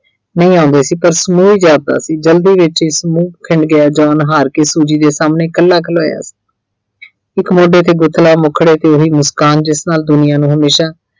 ਨਹੀਂ ਆਉਂਦੇ ਸੀ ਪਰ ਸਮੂਹ ਜਾਪਦਾ ਸੀ। ਜਲਦੀ ਵਿੱਚ ਹੀ ਸਮੂਹ ਖਿੰਡ ਗਿਆ John ਹਾਰਕੇ Suji ਦੇ ਸਾਹਮਣੇ ਕੱਲਾ ਖਲੋਇਆ ਇੱਕ ਮੁੰਡੇ ਦੇ ਮੁੱਖੜੇ ਤੇ ਓਹੀ ਮੁਸਕਾਨ ਜਿਸ ਨਾਲ ਦੁਨੀਆਂ ਨੂੰ ਹਮੇਸ਼ਾ